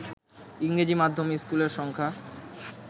ইংরেজি মাধ্যমের স্কুলের সংখ্যা